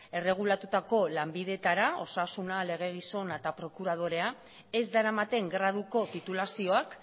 erregulatutako lanbideetara osasuna legegizon eta prokuradorea ez daramaten graduko titulazioak